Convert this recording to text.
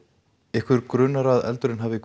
ykkur grunar að eldurinn hafi